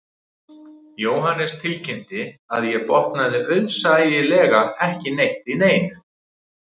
Jóhannes tilkynnti að ég botnaði auðsæilega ekki neitt í neinu